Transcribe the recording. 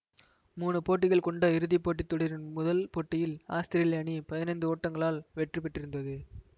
மூணு போட்டிகள் கொண்ட இறுதிப்போட்டித் தொடரின் முதல் போட்டியில் ஆத்திரேலிய அணி பதினைந்து ஓட்டங்களால் வெற்றி பெற்றிருந்தது